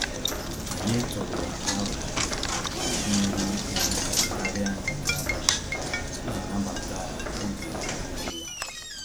Anyị tụrụ arọ nri ehihie karịa nke abali iji nabata oge onye ọbụla